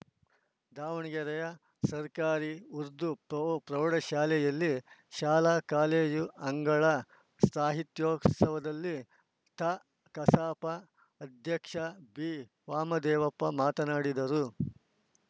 ದಾವಣಗೆರೆಯ ಸರ್ಕಾರಿ ಉರ್ದು ಪ್ರೌ ಪ್ರೌಢಶಾಲೆಯಲ್ಲಿ ಶಾಲಾ ಕಾಲೇಜು ಅಂಗಳ ಸಾಹಿತ್ಯೋತ್ಸವದಲ್ಲಿ ತಾಕಸಾಪ ಅಧ್ಯಕ್ಷ ಬಿವಾಮದೇವಪ್ಪ ಮಾತನಾಡಿದರು